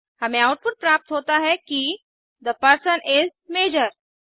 हमें आउटपुट प्राप्त होता है किद परसन इज़ मेजर